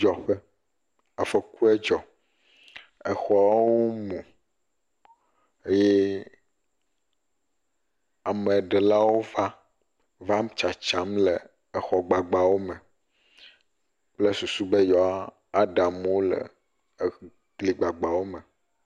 Afɔkudzɔƒe, afɔku edzɔ, exɔwo mu eye ameɖewo va, vam tsatsam le exɔ gbagbawo me kple susu bey e woa ɖe amewo le egli gbagbawo me.